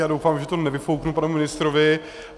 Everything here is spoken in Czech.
Já doufám, že to nevyfouknu panu ministrovi.